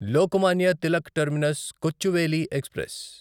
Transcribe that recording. Lokmanya Tilak terminus Kochuveli express